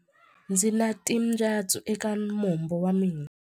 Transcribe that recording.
Ndzi na timbyatsu eka mombo wa mina.